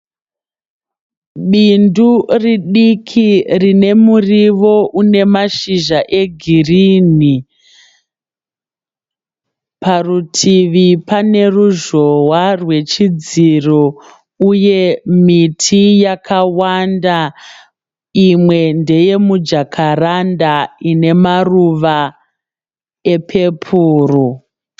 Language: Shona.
Bindu ridiki rine muriwo une mashizha egirinhi. Parutivi pane ruzhowa rwechidziro uye miti yakawanda. Imwe ndeye mujakaranda ine maruva epepuro.